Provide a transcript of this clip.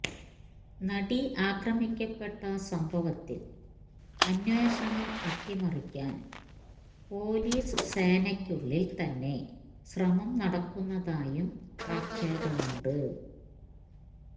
നടി ആക്രമിക്കപ്പെട്ട സംഭവത്തിൽ അന്വേഷണം അട്ടിമറിക്കാൻ പൊലീസ് സേനയ്ക്കുള്ളിൽ തന്നെ ശ്രമം നടക്കുന്നതായും ആക്ഷേപമുണ്ട്